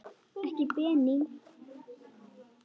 Ekki Benín.